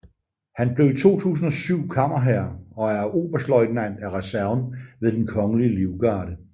Han blev i 2007 kammerherre og er oberstløjtnant af reserven ved Den Kongelige Livgarde